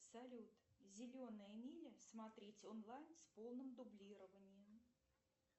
салют зеленая миля смотреть онлайн с полным дублированием